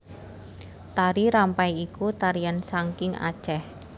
Tari Rampai iku tarian sangking Aceh